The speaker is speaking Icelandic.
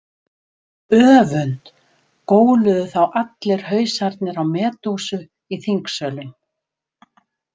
Öfund, góluðu þá allir hausarnir á Medúsu í þingsölum.